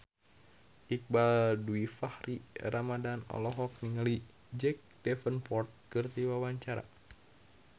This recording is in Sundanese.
Iqbaal Dhiafakhri Ramadhan olohok ningali Jack Davenport keur diwawancara